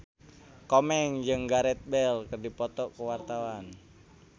Komeng jeung Gareth Bale keur dipoto ku wartawan